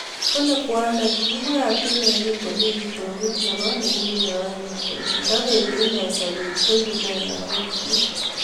Kolee kwanda kiibwat inee kingomii kitookut neboo yekikinyae kolee ndepetii inee sobet koiguu nee lagok chiik